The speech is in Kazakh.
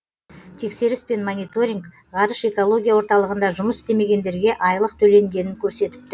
тексеріс пен мониторинг ғарыш экология орталығында жұмыс істемегендерге айлық төленгенін көрсетіпті